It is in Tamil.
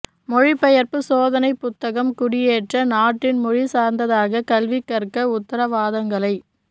மொழிபெயர்ப்பு சோதனை புத்தகம் குடியேற்ற நாட்டின் மொழி சார்ந்ததாக கல்வி கற்ற உத்தரவாதங்களை